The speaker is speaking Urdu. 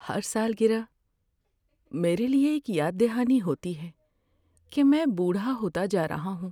ہر سالگرہ میرے لیے ایک یاد دہانی ہوتی ہے کہ میں بوڑھا ہوتا جا رہا ہوں۔